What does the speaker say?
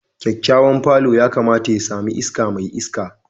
Kyakkyawan palour yakamata ya sami iska mai iska